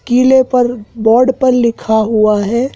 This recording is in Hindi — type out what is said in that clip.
किले पर बोर्ड पर लिखा हुआ है।